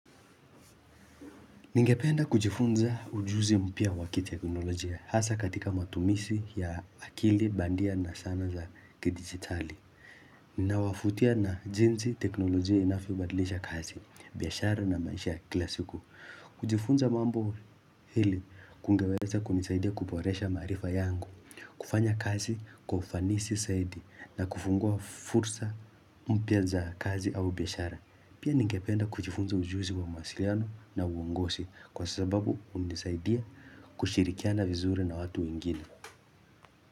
Ningependa kujifunza ujuzi mpya wa kiteknolojia hasa katika matumisi ya akili bandia na sana za kidigitali Ninawafutia na jinzi teknolojia inafyo badlisha kazi, biashara na maisha ya kila siku kujifunza mambo hili kungeweza kunisaidia kuporesha maarifa yangu kufanya kazi kwa ufanisi saidi na kufungua fursa mpya za kazi au biashara Pia ningependa kuchifunza ujuzi kwa masiliano na uongosi kwa sababu umenisaidia kushirikiana vizuri na watu wengine.